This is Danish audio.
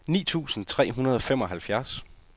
ni tusind tre hundrede og femoghalvfjerds